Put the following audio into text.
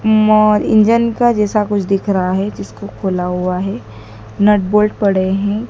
उम्म और इंजन का जैसा कुछ दिख रहा है जिसको खुला हुआ है नट बोल्ट पड़े हैं।